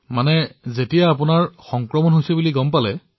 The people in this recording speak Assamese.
অৰ্থাৎ যেতিয়া আপুনি সংক্ৰমিত হোৱা বুল গম পালে